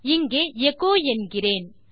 இங்கே எச்சோ என்கிறேன்